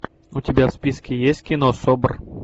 у тебя в списке есть кино собр